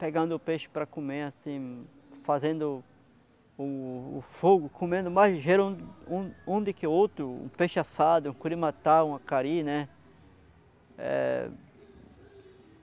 pegando o peixe para comer, assim, fazendo o o fogo, comendo mais ligeiro um um do que outro, um peixe assado, um curimatá, um acari, né? Eh...